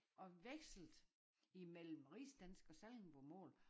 Og vekslede mellem rigsdansk og sallingbomål